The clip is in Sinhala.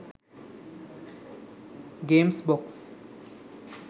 games box